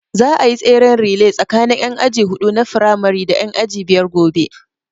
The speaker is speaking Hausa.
Za a yi tseren relay tsakanin ƴan aji huɗu na firamari da ƴan aji biyar gobe